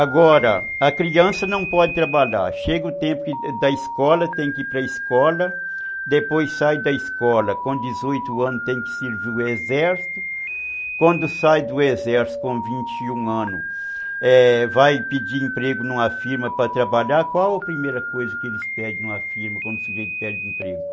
Agora, a criança não pode trabalhar, chega o tempo da escola, tem que ir para a escola, depois sai da escola, com dezoito anos tem que servir o exército, quando sai do exército com vinte e um anos, vai pedir emprego numa firma para trabalhar, qual a primeira coisa que eles pedem numa firma quando o sujeito perde o emprego?